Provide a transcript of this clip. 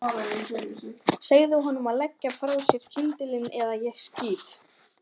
Segðu honum að leggja frá sér kyndilinn eða ég skýt.